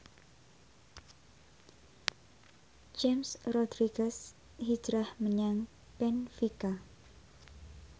James Rodriguez hijrah menyang benfica